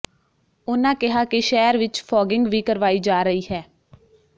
ਉਨਾਂ ਕਿਹਾ ਕਿ ਸ਼ਹਿਰ ਵਿਚ ਫੌਗਿੰਗ ਵੀ ਕਰਵਾਈ ਜਾ ਰਹੀ ਹੈ